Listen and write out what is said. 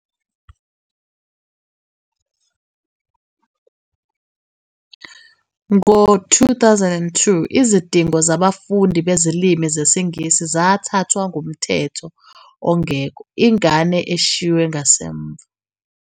ngo-2002 izidingo zaBafundi Bezilimi ZesiNgisi zathathwa nguMthetho Ongekho Ingane Eshiywe Ngasemva.